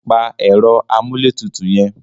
Pa ẹ̀rọ amúlétutù yẹn.